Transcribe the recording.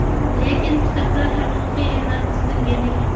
Lekin kitoblar haqiqiy emas, chizilgan ekan!.